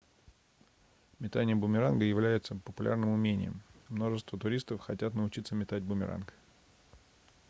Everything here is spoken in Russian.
метание бумеранга является популярным умением множество туристов хотят научиться метать бумеранг